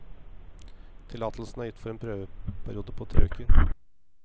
Tillatelsen er gitt for en prøveperiode på tre uker.